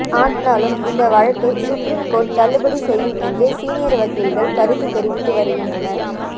ஆனாலும் இந்த வழக்கை சுப்ரீம் கோர்ட் தள்ளுபடி செய்யும் என்றே சீனியர் வக்கில்கள் கருத்து தெரிவித்து வருகின்றனர்